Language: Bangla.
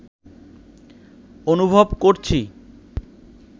অনুভব করছি